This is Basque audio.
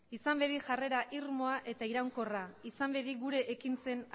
izan bedi jarrera irmoa eta iraunkorra izan bedi gure ekintzen